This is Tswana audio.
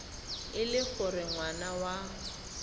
e le gore ngwana wa